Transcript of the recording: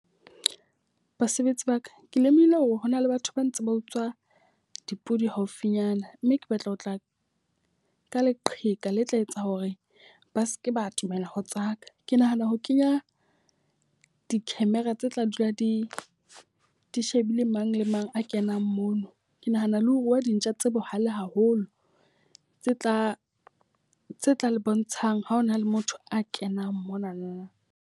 Basebetsi ba ka, ke lemohile hore hona le batho ba ntseng ba utswa dipodi haufinyana. Mme ke batla ho tla ka leqheka le tla etsa hore ba seke ba atomela ho tsaka. Ke nahana ho kenya di-camera tse tla dula di di shebile mang le mang a kenang mono. Ke nahana le ho rua dintja tse bohale haholo tse tla tse tla le bontshang ha hona le motho a kenang monana.